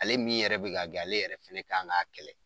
Ale min yɛrɛ bɛ k'a gɛ ale yɛrɛ fɛnɛ kan ŋ'a kɛlɛ.